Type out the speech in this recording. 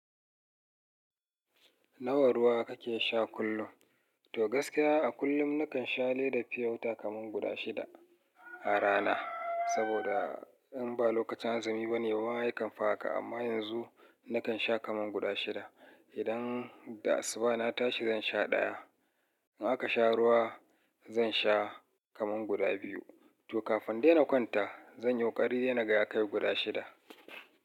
Nawa ruwa kake sha kullum? To gaskiya a kullum nakan sha leda fiyota kaman guda shida a rana. Saboda in ba lokacin azumi bane wa yakan fa haka amma yanzu nakan sha kaman guda shida. Idan da asuba na tashi zan sha ɗaya. In aka sha ruwa zan sha kaman guda biyu. To kafin dai na kwanta zan yi ƙokari na ga ya kai guda shida.